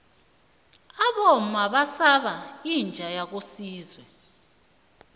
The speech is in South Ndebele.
abomma basaba inja yakosizwe